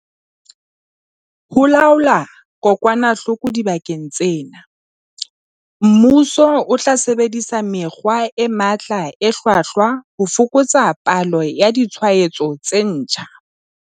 Ho laola kokwanahloko dibakeng tsena, mmuso o tla sebedisa mekgwa e matla e hlwahlwa ho fokotsa palo ya ditshwaetso tse ntjha.